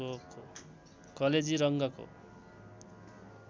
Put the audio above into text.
कलेजी रङ्गको